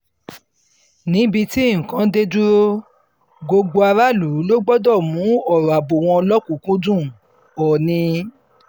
níbi tí nǹkan dé dúró gbogbo aráàlú ló gbọdọ̀ mú ọ̀rọ̀ ààbò wọn lọ́kùn-ún-kúndùn- òòní